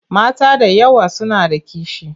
Mata da yawa suna da kishi.